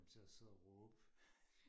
kom til og sidde og råbe